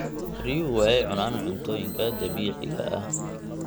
Riyuhu waxay cunaan cuntooyinka dabiiciga ah.